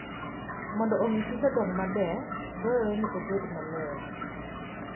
Mondo omi kich odong maber, dwarore ni obed maler.